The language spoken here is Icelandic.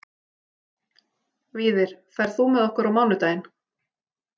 Víðir, ferð þú með okkur á mánudaginn?